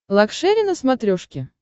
лакшери на смотрешке